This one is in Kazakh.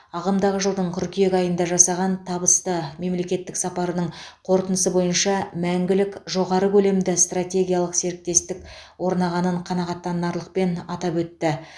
ағымдағы жылдың қыркүйек айында жасаған табысты мемлекеттік сапарының қорытындысы бойынша мәңгілік жоғары көлемді стратегиялық серіктестік орнағанын қанағаттанарлықпен атап өтті